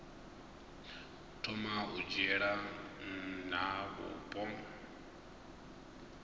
thoma u dzhiela nha vhupo